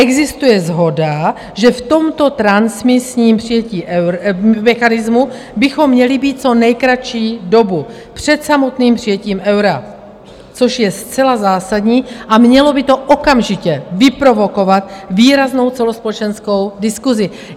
Existuje shoda, že v tomto transmisním přijetí mechanismu bychom měli být co nejkratší dobu před samotným přijetím eura, což je zcela zásadní a mělo by to okamžitě vyprovokovat výraznou celospolečenskou diskusi.